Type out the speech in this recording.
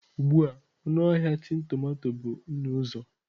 Ugbu a ọnụ ahịa tin tomato bụ nnụ-uzo.